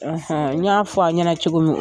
N y'a fɔ a ɲɛna cogo min